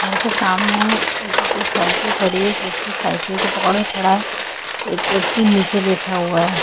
घर के सामने एक दो साइकिल खड़ी है। एक व्यक्ति साइकिल को पकड़ के खड़ा है। एक व्यक्ति नीचे बैठा हुआ है।